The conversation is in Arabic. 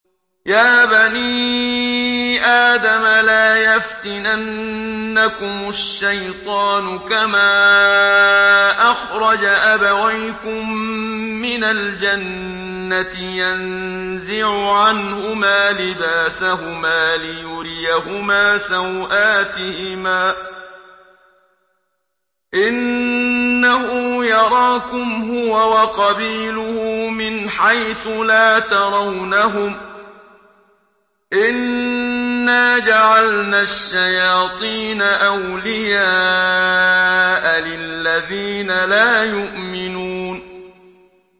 يَا بَنِي آدَمَ لَا يَفْتِنَنَّكُمُ الشَّيْطَانُ كَمَا أَخْرَجَ أَبَوَيْكُم مِّنَ الْجَنَّةِ يَنزِعُ عَنْهُمَا لِبَاسَهُمَا لِيُرِيَهُمَا سَوْآتِهِمَا ۗ إِنَّهُ يَرَاكُمْ هُوَ وَقَبِيلُهُ مِنْ حَيْثُ لَا تَرَوْنَهُمْ ۗ إِنَّا جَعَلْنَا الشَّيَاطِينَ أَوْلِيَاءَ لِلَّذِينَ لَا يُؤْمِنُونَ